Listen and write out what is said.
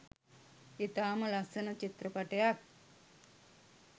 ඉතාම ලස්සන චිත්‍රපටයක්.